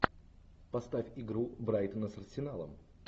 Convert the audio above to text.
поставь игру брайтона с арсеналом